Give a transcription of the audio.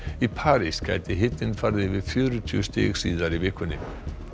í París gæti hitinn farið yfir fjörutíu stig síðar í vikunni